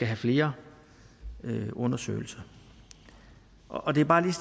have flere undersøgelser og det er bare der